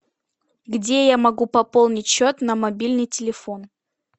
где я могу пополнить счет на мобильный телефон